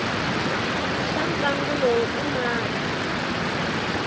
xa ntlangu lowu i mani